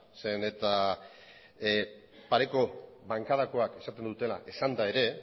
zeren eta pareko bankadakoak esaten dutena esanda ere